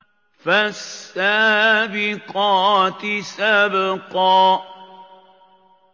فَالسَّابِقَاتِ سَبْقًا